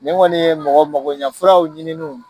Nin kɔni ye mɔgɔmagoɲafuraw ɲininiw.